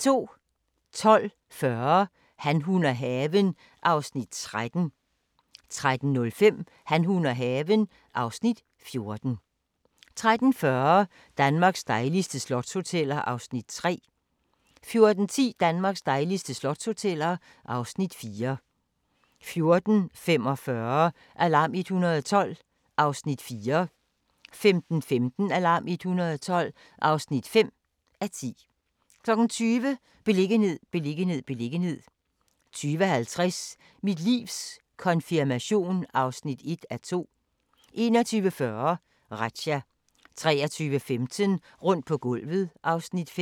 12:40: Han, hun og haven (Afs. 13) 13:05: Han, hun og haven (Afs. 14) 13:40: Danmarks dejligste slotshoteller (Afs. 3) 14:10: Danmarks dejligste slotshoteller (Afs. 4) 14:45: Alarm 112 (4:10) 15:15: Alarm 112 (5:10) 20:00: Beliggenhed, beliggenhed, beliggenhed 20:50: Mit livs konfirmation (1:2) 21:40: Razzia 23:15: Rundt på gulvet (Afs. 5)